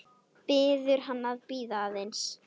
Biður hann að bíða aðeins.